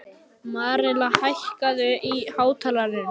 Marela, hækkaðu í hátalaranum.